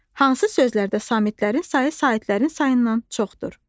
Hansı sözlərdə samitlərin sayı saitlərin sayından çoxdur?